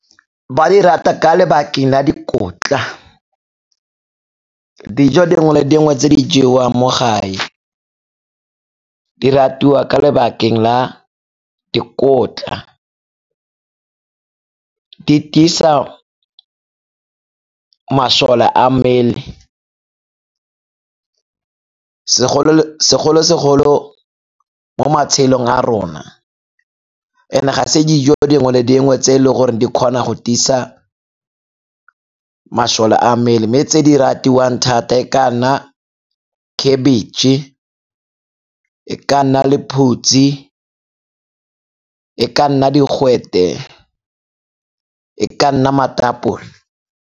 Ba di rata ka lebakeng la dikotla, dijo dingwe le dingwe tse di jewang mo gae di ratiwa ka lebakeng la dikotla. Di tiisa masole a mmele segolo-segolo mo matshelong a rona. And-e ga se dijo dingwe le dingwe tse e le gore di kgona go tiisa masole a mmele, mme tse di ratiwang thata e ka nna khebitšhe, e ka nna lephutsi, e ka nna digwete, e ka nna matapole.